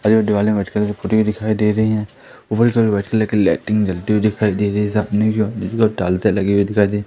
हुई दिखाई दे रही है वाइट कलर की लाइटिंग जलती हुई